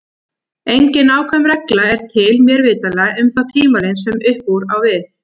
Engin nákvæm regla er til, mér vitanlega, um þá tímalengd sem upp úr á við.